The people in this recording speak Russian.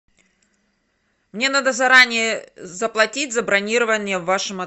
мне надо заранее заплатить за бронирование в вашем